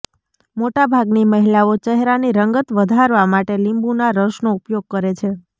મોટાભાગની મહિલાઓ ચહેરાની રંગત વધારવા માટે લીંબુના રસનો ઉપયોગ કરે છે